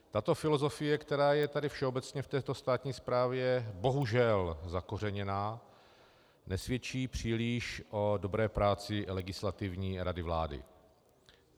Tato filozofie, která je tady všeobecně v této státní správě bohužel zakořeněná, nesvědčí příliš o dobré práci Legislativní rady vlády.